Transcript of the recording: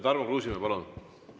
Tarmo Kruusimäe, palun!